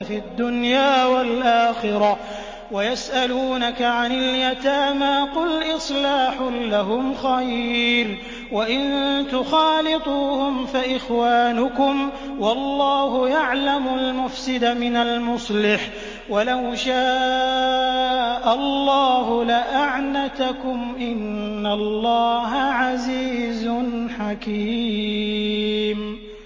فِي الدُّنْيَا وَالْآخِرَةِ ۗ وَيَسْأَلُونَكَ عَنِ الْيَتَامَىٰ ۖ قُلْ إِصْلَاحٌ لَّهُمْ خَيْرٌ ۖ وَإِن تُخَالِطُوهُمْ فَإِخْوَانُكُمْ ۚ وَاللَّهُ يَعْلَمُ الْمُفْسِدَ مِنَ الْمُصْلِحِ ۚ وَلَوْ شَاءَ اللَّهُ لَأَعْنَتَكُمْ ۚ إِنَّ اللَّهَ عَزِيزٌ حَكِيمٌ